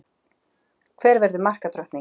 Hver verður markadrottning?